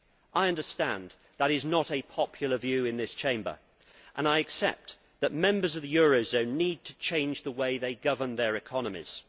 I understand that is not a popular view in this Chamber and I accept that members of the eurozone need to change the way they govern their economies.